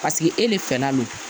Paseke e de fɛnna lo